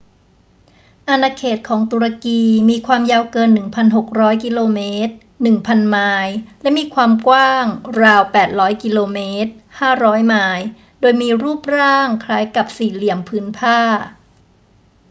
อาณาเขตของตุรกีมีความยาวเกิน 1,600 กิโลเมตร 1,000 ไมล์ และมีความกว้างราว 800 กิโลเมตร 500 ไมล์ โดยมีรูปร่างคล้ายกับสี่เหลี่ยมผืนผ้า